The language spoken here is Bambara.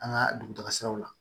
An ka dugutaga siraw la